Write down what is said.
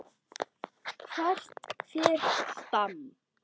Hvert fer Stam?